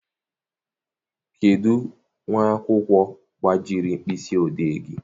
Kedụ nwa akwụkwọ gbajiri mkpịsị odee gị?